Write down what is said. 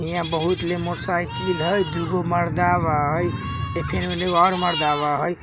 इहाँ बोहुत साइकिल हई दूगो मर्दा हई एने एगो और मर्दा हई।